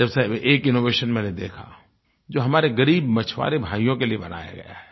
जैसे अभी एक इनोवेशन मैंने देखा जो हमारे ग़रीब मछुआरे भाइयों के लिये बनाया गया है